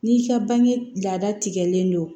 N'i ka bange lada tikɛlen don